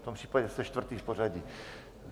V tom případě jste čtvrtý v pořadí.